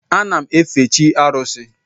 Ana m efe chi arusi.